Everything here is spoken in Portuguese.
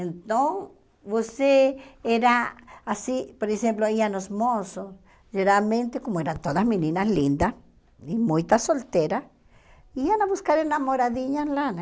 Então, você era assim, por exemplo, iam os moços, geralmente, como eram todas meninas lindas e muitas solteiras, iam buscar namoradinhas lá, né?